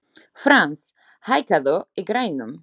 Frans, hækkaðu í græjunum.